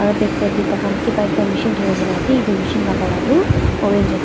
Aro backside te tai khan kebah ekta machine thori kena ase etu machine la colour tu orange ase.